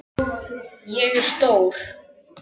Ég er stór.